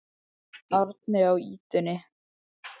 Árni á ýtunni.